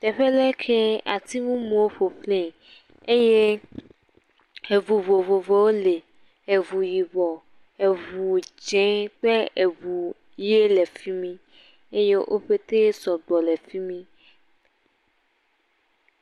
tɛƒɛ lɛ kɛ ati mumuwo ƒoxlē eye eʋu vovovowo lɛ eʋu yibɔ eʋu dzɛ̃ kple eʋu yɛ lɛ fimi eye wó pɛtɛ sɔgbɔ lɛ fimi